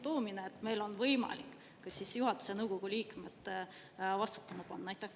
… ka sundtoomine, on meil võimalik ka juhatuse ja nõukogu liikmed vastutama panna?